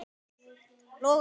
eftir Sölva Logason